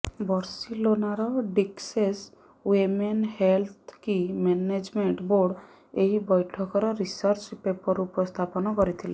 ବର୍ସିଲୋନାର Dexeus women health କି management board ଏହି ବୈଠକର ରିସର୍ଚ୍ଚ ପେପର ଉପସ୍ଥାପନା କରିଥିଲେ